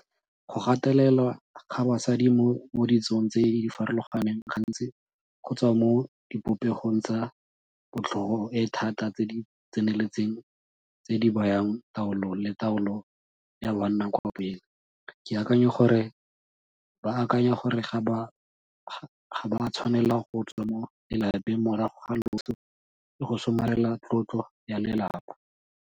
Go gatelelwa ga basadi mo ditsong tse di farologaneng gantsi go tswa mo dipopegong tsa botlhogo e e thata tse di tseneletseng tse di bayang taolo le taolo ya banna kwa pele, ke akanya gore ba akanya gore ga ba tshwanela go tswa mo lelapeng morago ga loso le go somarela tlotlo ya lelapa.